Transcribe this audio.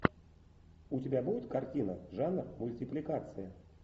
у тебя будет картина жанр мультипликация